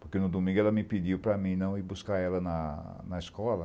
Porque no domingo ela me pediu para não ir buscar ela na na escola.